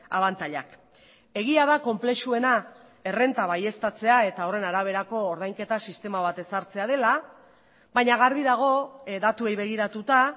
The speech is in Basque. abantailak egia da konplexuena errenta baieztatzea eta horren araberako ordainketa sistema bat ezartzea dela baina garbi dago datuei begiratuta